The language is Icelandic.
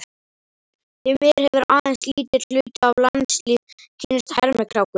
Því miður hefur aðeins lítill hluti af landslýð kynnst hermikrákunni